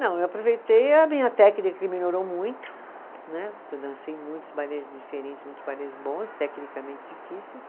Não, eu aproveitei a minha técnica que melhorou muito né, porque eu dancei muitos balés diferentes, muitos balés bons, tecnicamente difíceis.